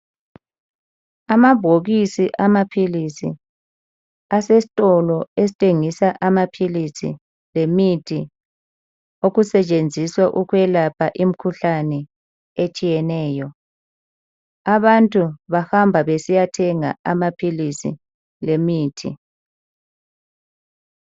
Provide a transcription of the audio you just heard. Amabhokisi amaphilisi asesitolo esithengisa amaphilisi lemithi okusetshenziswa ukwelapha imikhuhlane etshiyeneyo. Abantu bahamba besiyathenga amaphilisi lemithi.